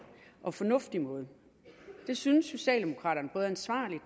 og fornuftig måde det synes socialdemokraterne er ansvarligt